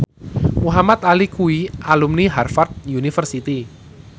Muhamad Ali kuwi alumni Harvard university